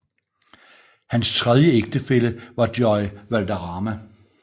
Hans tredje ægtefælle var Joy Valderrama